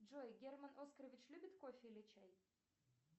джой герман оскарович любит кофе или чай